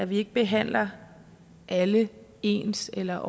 vi ikke behandler alle ens eller